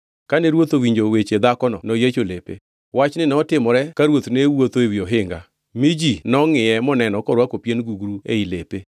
Kane ruoth owinjo weche dhakono noyiecho lepe. Wachni notimore ka ruoth ne wuotho ewi ohinga, mi ji nongʼiye, moneno korwako pien gugru ei lepe.